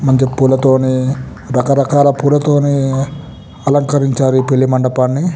మంచి పుల్లతోని రక రకాల పులతోని అలరించారు ఈ పెళ్లి మండపాని.